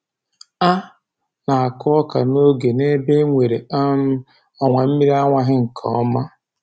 A na-akụ ọka n'oge n'ebe e nwere um ọwa mmiri awaghị nke ọma